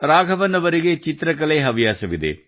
ರಾಘವನ್ ಅವರಿಗೆ ಚಿತ್ರಕಲೆ ಹವ್ಯಾಸವಿದೆ